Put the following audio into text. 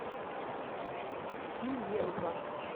ильенко